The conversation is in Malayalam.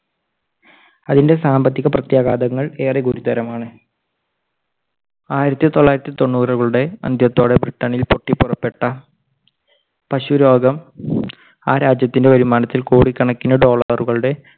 അതിൻറെ സാമ്പത്തിക പ്രത്യാഘാതങ്ങൾ ഏറെ ഗുരുതരമാണ്. ആയിരത്തി തൊള്ളായിരത്തി തൊണ്ണൂറുകളുടെ അന്ത്യത്തോടെ ബ്രിട്ടനിൽ പൊട്ടിപ്പുറപ്പെട്ട പശു രോഗം ആ രാജ്യത്തിൻറെ വരുമാനത്തിൽ കോടിക്കണക്കിന് dollar കളുടെ